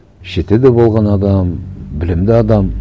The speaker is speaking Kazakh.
шетелде болған адам білімді адам